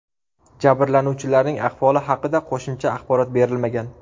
Jabrlanuvchilarning ahvoli haqida qo‘shimcha axborot berilmagan.